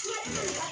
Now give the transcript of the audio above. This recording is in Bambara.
Su